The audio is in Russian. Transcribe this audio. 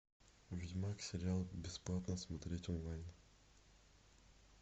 ведьмак сериал бесплатно смотреть онлайн